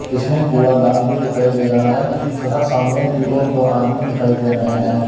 इसमें कूड़ा दान भी दिखाई दे रहा है तथा सामने की ओर दो आदमी दिखाई दे रहे हैं।